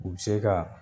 U bɛ se ka